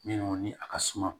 Minnu ni a ka suma